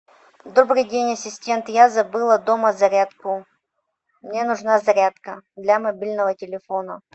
добрый день ассистент я забыла дома зарядку мне нужна зарядка для мобильного телефона